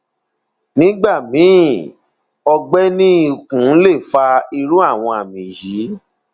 nígbà míì ọgbẹ ní ikùn lè fa irú àwọn àmì yìí